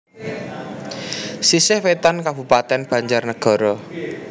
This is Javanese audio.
Sisih Wetan Kabupatèn BanjarNagara